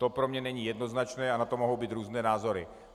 To pro mě není jednoznačné a na to mohou být různé názory.